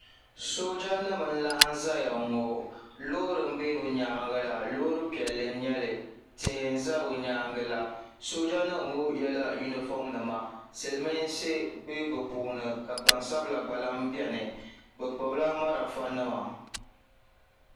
soojanima n-laɣim zaya ŋɔ loori m-be bɛ nyaaŋga la loori piɛlli n-nyɛ li tihi n-za bɛ nyaaŋga la soojanima ŋɔ yɛla yunifɔmnima silimiinsi be bɛ puuni ka gbansabila gba lahi beni bɛ gbubila malfanima